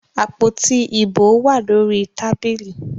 Àpótí ìbò wà lórí tábìlì.